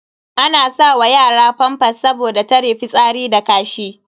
Ana sa wa yara famfas saboda tare fitsari da kashi.